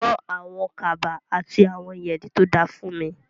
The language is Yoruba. Rán àwọn kaba àti àwọn yẹ̀rì tó da fúnmi.